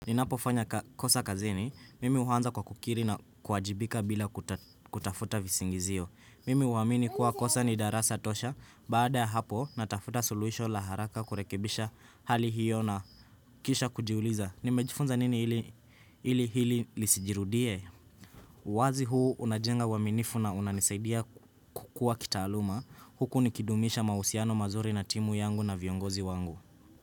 Ninapo fanya kosa kazini, mimi uanza kwa kukiri na kuwajibika bila kutafuta visingizio. Mimi uamini kuwa kosa ni darasa tosha, baada hapo natafuta suluhisho la haraka kurekebisha hali hiyo na kisha kujiuliza. Nimejifunza nini ili hili lisijirudie? uWazi huu unajenga uaminifu na unanisaidia kukua kitaaluma. Huku nikidumisha mahusiano mazuri na timu yangu na viongozi wangu.